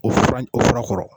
O fura in o fura kɔrɔ